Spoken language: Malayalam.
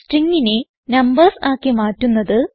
stringനെ നംബർസ് ആക്കി മാറ്റുന്നത്